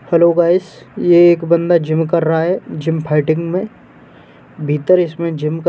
Hello guys ये एक बंदा जिम कर रहा है जिम फाइटिंग में। भीतर इसमें जिम क --